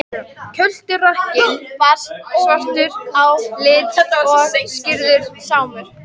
Kjölturakkinn var svartur á lit og skírður Sámur.